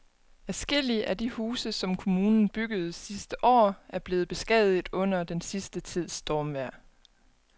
Adskillige af de huse, som kommunen byggede sidste år, er blevet beskadiget under den sidste tids stormvejr.